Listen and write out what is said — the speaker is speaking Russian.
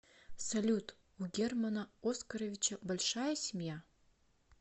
салют у германа оскаровича большая семья